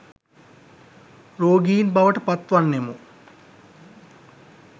රෝගීන් බවට පත් වන්නෙමු